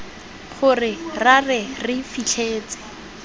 gore ra re re fitlhetse